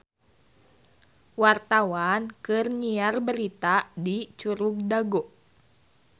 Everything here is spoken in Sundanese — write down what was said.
Wartawan keur nyiar berita di Curug Dago